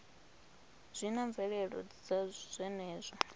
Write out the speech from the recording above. zwi na mvelelo dza zwenezwo